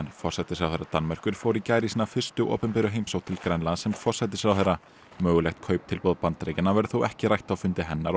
forsætisráðherra Danmerkur fór í gær í sína fyrstu opinberu heimsókn til Grænlands sem forsætisráðherra mögulegt kauptilboð Bandaríkjanna verður þó ekki rætt á fundi hennar og